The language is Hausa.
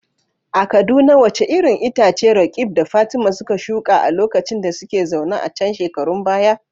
A Kaduna wace irin itace Roqeeb da Fatima suka shuka a lokacin da suka zauna a can shekarun baya?